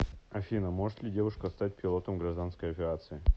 афина может ли девушка стать пилотом гражданской авиации